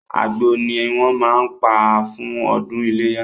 Àgbò ni wọ́n máa ń pa fún ọdún iléyá.